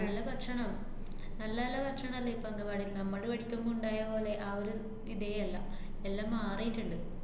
നല്ല ഭക്ഷണാ. നല്ല നല്ല ഭക്ഷണല്ലേ ഇപ്പ അംഗന്‍വാടീല്. നമ്മള് പഠിക്കുമ്പോ ഇണ്ടായപോലെ ആ ഒരു ഇതേ അല്ല. എല്ലാം മാറീട്ട്ണ്ട്.